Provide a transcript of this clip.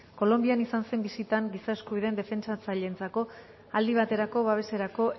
kolonbian izan zen bisitan giza eskubidean defentsatzaileentzako aldi baterako babeserako